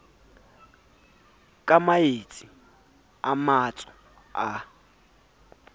ka maetsi a matso a